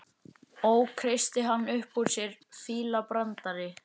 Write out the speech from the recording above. Ó, kreisti hann upp úr sér, fílabrandari